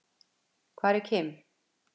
Hvar er Kim?